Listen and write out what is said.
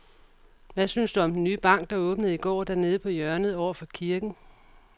Hvad synes du om den nye bank, der åbnede i går dernede på hjørnet over for kirken?